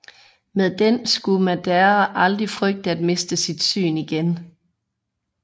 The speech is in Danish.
Med den skulle Madara aldrig frygte at miste sit syn igen